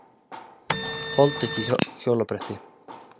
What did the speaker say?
Þoldi ekki hjólabretti.